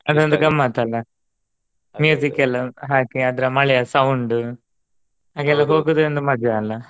ಅದೊಂದ ಗಮ್ಮತ್ ಅಲಾ ಎಲ್ಲಾ ಹಾಕಿ ಅದ್ರ ಮಳೆಯ sound ಹಾಗೆಲ್ಲಾ ಹೋಗುದೆ ಒಂದ್ ಮಜಾ ಅಲಾ.